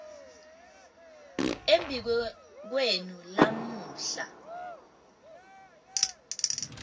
embi kwenu lamuhla